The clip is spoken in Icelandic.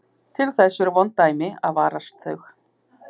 Til þess eru vond dæmi að varast þau.